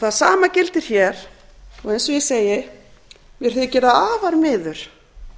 það sama gildir hér og eins og ég segi mér þykir það afar miður